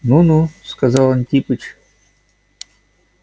ну-ну сказал антипыч